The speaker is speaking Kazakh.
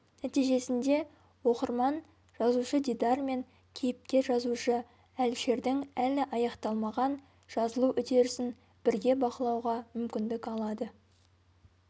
нәтижесінде оқырман жазушы-дидар мен кейіпкер-жазушы әлішердің әлі аяқталмаған жазылу үдерісін бірге бақылауға мүмкіндік алады